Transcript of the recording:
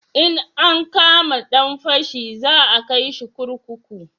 In an kama dan fashi za a kai shi kurkuku